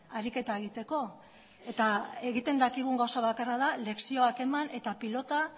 ariketa egiteko eta egiten dakigun gauza bakarra da lekzioak eman eta pilota